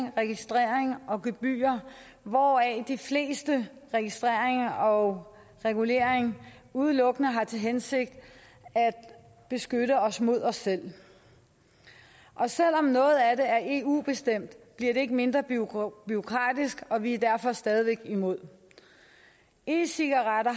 og registrering og gebyrer hvoraf de fleste registreringer og reguleringer udelukkende har til hensigt at beskytte os mod os selv og selv om noget af det er eu bestemt bliver det ikke mindre bureaukratisk og vi er derfor stadig væk imod e cigaretter